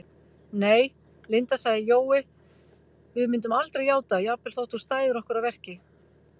Nei, Linda sagði Jói, við myndum aldrei játa, jafnvel þótt þú stæðir okkur að verki